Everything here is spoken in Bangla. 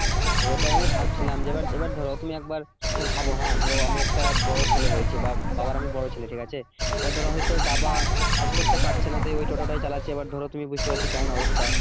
হ্যাঁ ওটা আমি ভাবছিলাম যে এবার ধরো তুমি একবার ভাবো হ্যাঁ ধরো আমি একটা বড় ছেকে হয়েছি বা বাবার আমি বড় ছেলে ঠিক আছে এখন ধরো হয়তো বাবা কাজ করতে পারছে না সে ওই টোটোটাই চালাচ্ছে এবার ধরো তুমি বুঝতে পারছো কেমন অবস্থা